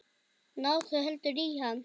Náðu heldur í hann.